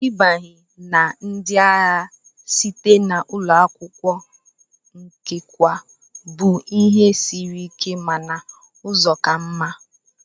Ịbanye na ndị agha site na ụlọ akwụkwọ nchekwa bụ ihe siri ike mana ụzọ ka mma.